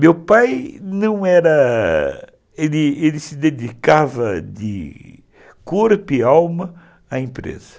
Meu pai não era... Ele ele se dedicava de corpo e alma à empresa.